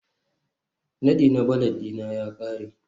Nadi na valet ɗina ya ƙare